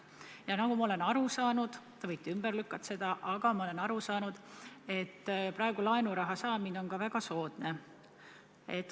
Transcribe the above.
Ja nagu ma olen aru saanud – te võite selle ümber lükata –, on praegu laenuraha saamine väga soodne.